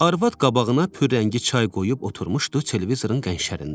Arvad qabağına pürrəngi çay qoyub oturmuşdu televizorun qəşərində.